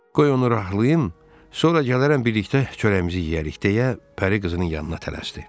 Qoy onu rahlayım, sonra gələrəm birlikdə çörəyimizi yeyərik deyə Pəri qızının yanına tələsdi.